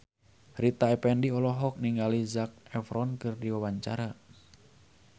Rita Effendy olohok ningali Zac Efron keur diwawancara